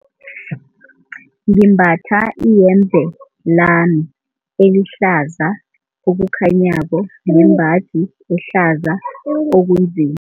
Ngimbatha iyembe lami elihlaza okukhanyako nembaji ehlaza okunzima.